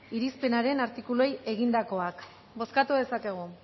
irizpenaren artikuluei egindakoak bozkatu dezakegu